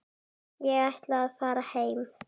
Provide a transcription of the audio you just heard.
Ég ætla að fara heim.